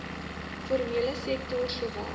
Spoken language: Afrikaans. formele sektor sowel